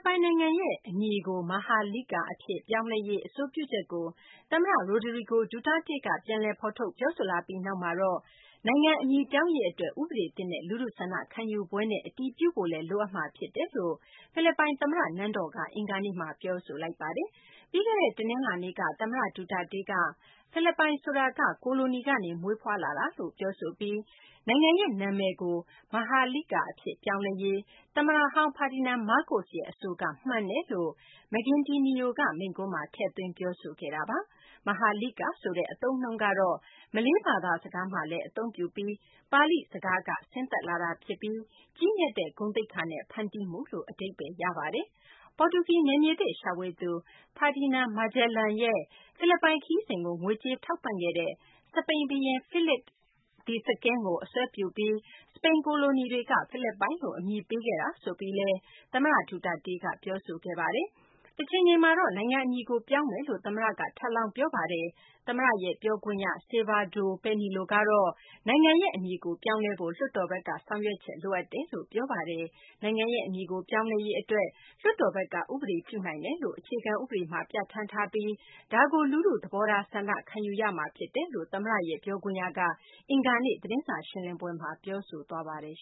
ပိုင် နိုင်ငံရဲ့ အမည်ကို Maharlika အဖြစ် ပြောင်းလဲရေး အဆိုပြုချက်ကို သမ္မတ ရိုဒရီဂို ဒူတာတေးက ပြန်လည် ဖော်ထုတ်ပြောဆိုလာပြီးနောက်မှာတော့ နိုင်ငံ အမည်ပြောင်းရေး အတွက် ဥပဒေသစ်နဲ့ လူထုဆန္ဒခံယူပွဲနဲ့ အတည်ပြုဖို့လည်း လိုအပ်မှာ ဖြစ်တယ်လို့ ဖိလစ်ပိုင် သမ္မတ နန်းတော်က အင်္ဂါနေ့ ပြောဆိုလိုက်ပါတယ်။ ပြီးခဲ့တဲ့ တနလာၤနေ့က သမ္မတ Duterte က ဖိလစ်ပိုင် ဆိုတာက ကိုလိုနီကနေ မွေးဖွားလာတာလို့ ပြောဆိုပြီး နိုင်ငံရဲ့ နာမည်ကို Maharlika အဖြစ် ပြောင်းလဲရေး သမ္မတဟောင်း Ferdinand Marcos ရဲ့ အဆိုက မှန်ကန်တယ်လို့ Maguindanao က မိန့်ခွန်းမှာ ထည့်သွင်း ပြောဆိုခဲ့တာပါ။ Maharlika ဆိုတဲ့ အသုံးအနှုန်းကတော့ မလေးဘာသာစကားမှာလည်း အသုံးပြုပြီး ပါဠိစကားကနေ ဆင်းသက်လာ ဖြစ်ပြီး ကြီးမြတ်တဲ့ ဂုဏ်သိက္ခာနဲ့ ဖန်တီးမှုလို့ အဓိပ္ပါယ်ရပါတယ်။ ပေါ်တူဂီ နယ်မြေသစ် ရှာဖွေသူ Ferdinand Magellan ရဲ့ ဖိလစ်ပိုင် ခရီးစဉ်ကို ငွေကြေး ထောက်ပံ့ခဲ့တဲ့ စပိန်ဘုရင် Philip II ကို အစွဲပြုပြီး စပိန်ကိုလိုနီတွေက ဖိလစ်ပိုင်လို့ အမည်ပေးခဲ့တာလို့ သမ္မတ ဒူတာတေးက ပြောဆိုခဲ့ပါတယ်။ တချိန်ချိန်မှာတော့ နိုင်ငံ အမည်ကို ပြောင်းလဲမယ်လို့လည်း သမ္မတက ထပ်လောင်း ပြောဆိုခဲ့ပါတယ်။ သမ္မတရဲ့ ပြောခွင့်ရ Salvador Panelo ကတော့ နိုင်ငံရဲ့ အမည်ကို ပြောင်းလဲဖို့ လွှတ်တော်ဘက်က ဆောင်ရွက်ချက် လိုအပ်တယ်လို့ ပြောပါတယ်။ နိုင်ငံရဲ့ အမည်ကို ပြောင်းလဲရေး အတွက် လွှတ်တော်ဘက်က ဥပဒေပြုနိုင်တယ်လို့ အခြေခံ ဥပဒေမှာ ပြဌာန်းထားပြီး ဒါကို လူထု သဘောထား ဆန္ဒခံယူရမှာ ဖြစ်တယ်လို့ သမ္မတရဲ့ ပြောခွင့်ရက အင်္ဂါနေ့ သတင်းစာ ရှင်းလင်းပွဲမှာ ပြောဆိုသွားပါတယ်